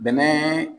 Bɛnɛ